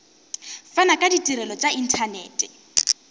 fana ka ditirelo tša inthanete